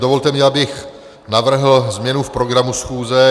Dovolte mi, abych navrhl změnu v programu schůze.